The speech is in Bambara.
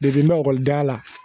la